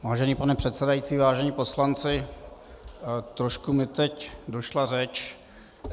Vážený pane předsedající, vážení poslanci, trošku mi teď došla řeč.